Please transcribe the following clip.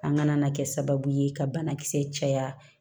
An kana na kɛ sababu ye ka banakisɛ caya